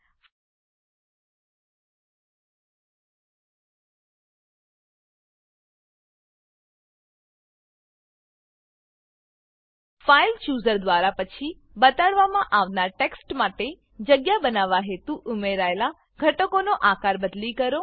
file chooser file chooser દ્વારા પછી બતાડવામાં આવનાર ટેક્સ્ટ માટે જગ્યા બનાવવા હેતુ ઉમેરાયેલા ઘટકનો આકાર બદલી કરો